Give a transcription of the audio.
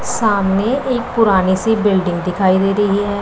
सामने एक पुरानी सी बिल्डिंग दिखाई दे रही है।